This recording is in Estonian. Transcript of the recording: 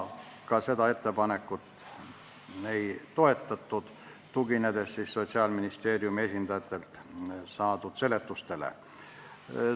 Ka seda ettepanekut ei toetatud, tuginedes Sotsiaalministeeriumi esindajatelt saadud seletustele.